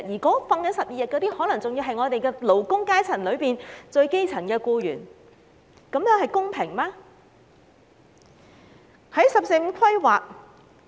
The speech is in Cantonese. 享有12天假期的僱員，可能是勞工階層中最基層的僱員，這樣是否公平？